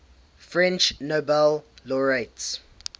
french nobel laureates